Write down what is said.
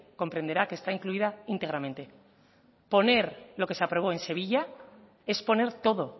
comprenderá que está incluida íntegramente poner lo que se aprobó en sevilla es poner todo